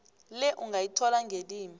le ungayithola ngelimi